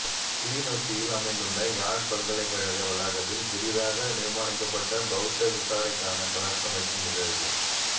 கிளிநொச்சியில் அமைந்துள்ள யாழ் பல்கலைக்கழக வளாகத்தில் புதிதாக நிர்மானிக்கப்பட்ட பௌத்த விசாரைக்கான கலசம் வைக்கும் நிகழ்வு